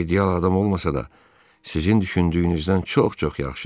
O ideal adam olmasa da, sizin düşündüyünüzdən çox-çox yaxşıdır.